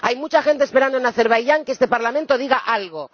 Hay mucha gente esperando en Azerbaiyán a que este Parlamento diga algo.